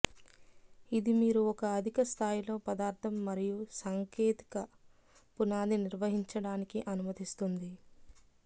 ఇది మీరు ఒక అధిక స్థాయిలో పదార్థం మరియు సాంకేతిక పునాది నిర్వహించడానికి అనుమతిస్తుంది